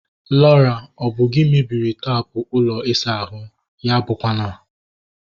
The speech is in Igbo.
Laura! Ọ bụ gị mebiri taapụ ụlọ isa ahụ ahu? Ya abụkwa na